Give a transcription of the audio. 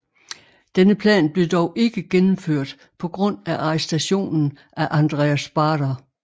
Denne plan blev dog ikke gennemført på grund af arrestationen af Andreas Baader